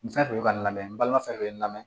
Nin fɛn fɛn bɛ ka n lamɛn balima fɛn fɛn bɛ n lamɛn